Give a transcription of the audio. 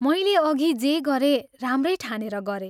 मैले अभि जे गरेँ, राम्रै ठानेर गरें।